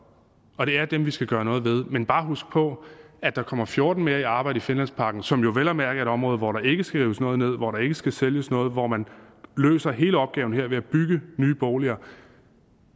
og det er dem vi skal gøre noget ved men bare huske på at der kommer fjorten mere i arbejde i finlandsparken som jo vel at mærke er et område hvor der ikke skal rives noget ned hvor der ikke skal sælges noget og hvor man løser hele opgaven her ved at bygge nye boliger